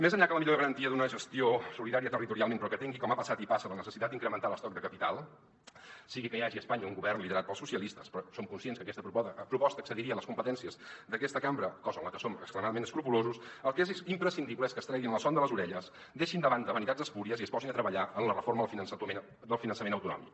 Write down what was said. més enllà que la millor garantia d’una gestió solidària territorialment però que tingui com ha passat i passa la necessitat d’incrementar l’estoc de capital sigui que hi hagi a espanya un govern liderat pels socialistes però som conscients que aquesta proposta excediria les competències d’aquesta cambra cosa amb què som extremadament escrupolosos el que és imprescindible és que es treguin la son de les orelles deixin de banda vanitats espúries i es posin a treballar en la reforma del finançament autonòmic